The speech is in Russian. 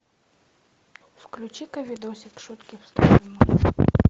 включи ка видосик шутки в сторону